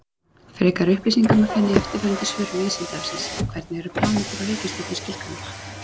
Frekari upplýsingar má finna í eftirfarandi svörum Vísindavefsins: Hvernig eru plánetur og reikistjörnur skilgreindar?